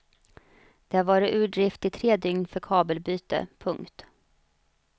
Det har varit ur drift i tre dygn för kabelbyte. punkt